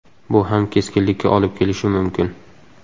Bu ham keskinlikka olib kelishi mumkin.